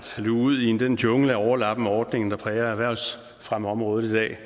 luge ud i den jungle af overlappende ordninger der præger erhvervsfremmeområdet i dag